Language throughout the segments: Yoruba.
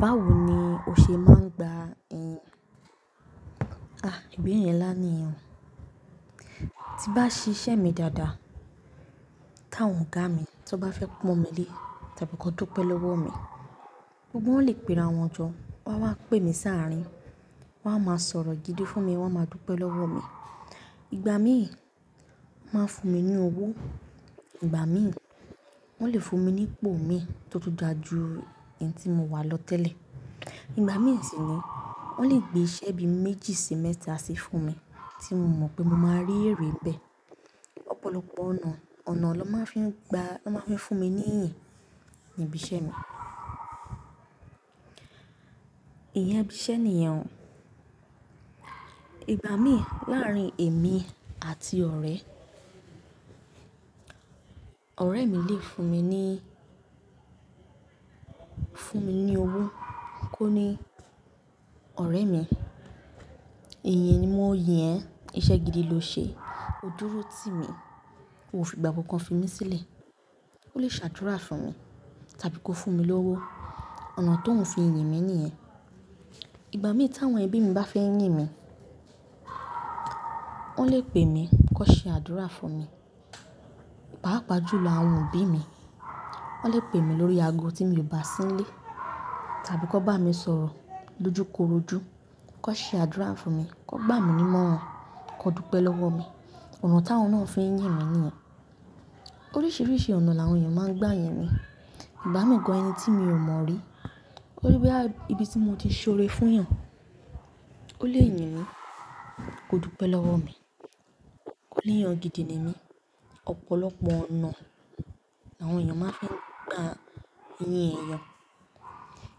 Báwo ni o ṣe máa ń gba ìyìn? À, ìbéèrè ńlá ni yẹn o. Tí bá ṣiṣẹ́ mi dáadáa, káwọn ọ̀gá mi tí wọ́n bá fẹ́ pọ́n mi lé, tàbí kò dúpe lọ́wọ́ mi, gbogbo wọ́n lè pera wọn jọ, wọ́n á wá pè mí sàárín, wọ́n á máa sọ̀rọ̀ gidi fún mi, wọ́n á máa dúpẹ́ lọ́wọ́ mi. Ìgbà míì, wọ́n máa ń fún mi ní owó. Ìgbà míì, wọ́n lè fún mi ní ipò mi tó tún dà jú èyí tí mo wà lọ tẹ́lẹ̀. Ìgbà míì sì ni, wọ́n lè gbé iṣẹ́ bí méjì sí mẹ́ta sí fún mi tí mo mọ̀ pé mo máa rí èrè n bẹ́ẹ̀. Ọ̀pọ̀lọpọ̀ ọ̀nà, ọ̀nà lọ́ máa fi ń gba, lọ máa ń fi fún mi ní iyìn níbi iṣẹ́ mi. Ìyẹn ibi iṣẹ́ ni yẹn o. Ìgbà míì láàárín èmi àti ọ̀rẹ́, ọ̀rẹ́ mi lè fún mi ní, fún mi ní owó kó ní, "ọ̀rẹ́ mi, ìyìn ni mo yìn ẹ́, iṣẹ́ gidi lo ṣe, o dúró tì mí, o fi ìgbà kankan fi mí sílẹ̀." Ó lè ṣàdúrà fún mi tàbí kó fún mi lówó. Ọ̀nà tó ń fi yìn mi ni ìyẹn. Ìgbà míì tàwọn ẹbí mi bá fẹ́ yín mi, wọ́n lè pè mí kó ṣe àdúrà fún mi, pàápàá jù lọ àwọn òbí mi. Wọ́n lè pè mí lórí ago tí mi ò bà sí ń lé tàbí kó bá mi sọ̀rọ̀ lójúkorojú, kó ṣe àdúrà fún mi, kó gbà mí ni mọ̀ràn, kó dúpẹ́ lọ́wọ́ mi. Ọ̀nà táwọn náà ń fi yín mi ni yẹn. Oríṣiríṣi ọ̀nà làwọn èèyàn máa ń gba yìn mi. Ìgbà mi gan ẹni tí mi ò mọ rí, oni bóyá ibi tí mo ti ṣore fún yan ó lè yìn mí kó dúpẹ́ lọ́wọ́ mi. Ó lè yan gidi ni mí. Ọ̀pọ̀lọpọ̀ ọ̀nà làwọn èèyàn máa fi ń gba yìn èèyàn.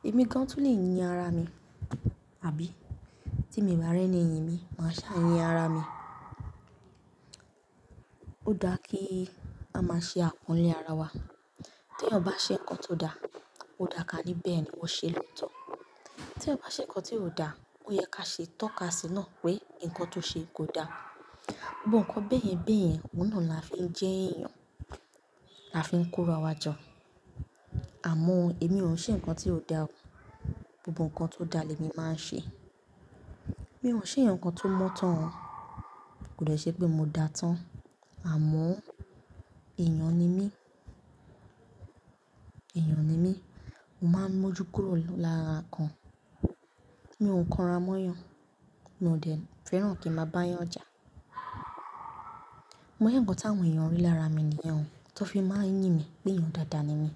Èmi gan tún lè yín ara mi, àbí? Tí mi bá re ni yìn mi, ma sá yín ara mi ó dáa kí a máa ṣe àpọ́nlé ara wa. Tí èèyàn bá ṣe nǹkan tó dà, ó dà ká ní bẹ́ẹ̀ ni wọ́n ṣe lọ́tọ̀. Tí èèyàn bá ṣe nǹkan tí ò dà, ó yẹ ká ṣe tọ́ka sí náà pé nǹkan tó ṣe kò dà. Gbogbo nǹkan bẹ́ẹ̀yẹn bẹ́ẹ̀yẹn, òun náà là fi ń jẹ́ èèyàn. A fi ń ko rawàjọ. Àmọ́ èmi ò ń ṣe nǹkan tí ò dà o. Gbogbo nǹkan tó dà lèmi máa ń ṣe. Mi ò ń ṣeyan kan tó mọ́ tán o. Kò dẹ́ ṣe pé mo dà tán. Àmọ́ èèyàn ni mí. Èèyàn ni mí. Mo máa ń mójú kóró lọ lára kan. Mi ò ń kanra mọ́ yàn, mo ò dẹ̀ fẹ́ràn kí ń máa bá yàn jà. Bó yá nǹkan táwọn èèyàn rí lára mi ni yẹn o. Tó fi máa ń yìn mi pé èèyàn dáadáa ni mí.